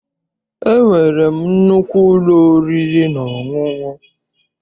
E nwere m nnukwu ụlọ oriri na ọṅụṅụ.